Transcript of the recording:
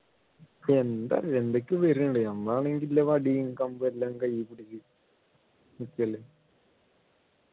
എന്താ എന്തൊക്കെയോ വരുന്നുണ്ടായിരുന്നു നമ്മൾ ആണെങ്കി ഇതില് വടിയും കമ്പും എല്ലാം കയ്യിൽ പിടിച്ചു നിക്ക്അല്ലെ